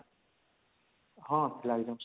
ହଁ